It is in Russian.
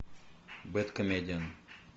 бэдкомедиан